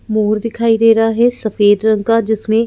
मोर दिखाई दे रहा है सफेद रंग का जिसमें--